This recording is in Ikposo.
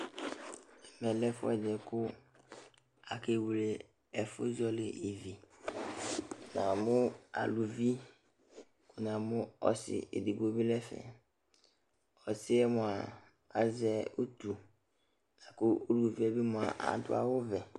Ɛmɛ lɛ ɛfʋɛdɩ kʋ akwle ɛfʋzɔɣɔlɩ ivi Namʋ aluvi, namʋ ɔsɩ edigbo bɩ nʋ ɛfɛ Ɔsɩ yɛ mʋa, azɛ utu la kʋ uluvi yɛ bɩ mʋa, adʋ awʋvɛ